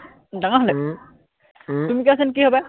ডাঙৰ হলে উম উম তুমি কোৱাচোন কি হবা